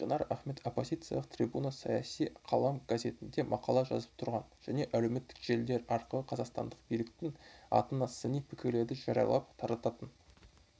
жанар ахмет оппозициялық трибуна саяси қалам газетінде мақала жазып тұрған және әлеуметтік желілер арқылы қазақстандық биліктің атына сыни пікірлерді жариялап тарататын